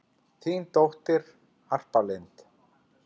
Þín dóttir, Harpa Lind.